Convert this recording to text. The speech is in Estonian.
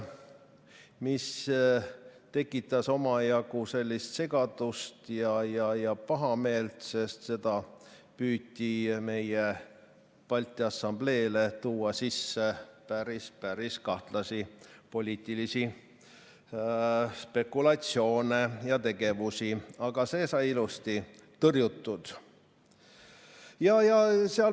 See tekitas omajagu segadust ja pahameelt, sest meie Balti Assambleele püüti tuua sisse päris-päris kahtlasi poliitilisi spekulatsioone ja tegevusi, aga see sai ilusti tõrjutud.